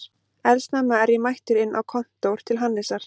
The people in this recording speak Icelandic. Eldsnemma er ég mættur inn á kontór til Hannesar